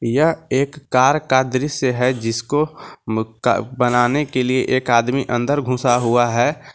यह एक कार का दृश्य है जिसको म का बनाने के लिए एक आदमी अंदर घूंसा हुआ है।